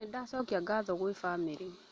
Nĩndacokia gatho kwĩ bamĩrĩ